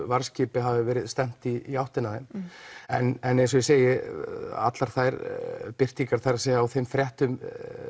varðskipi hafi verið stefnt í áttina að þeim en eins og ég segi allar þær birtingar það er á þeim fréttum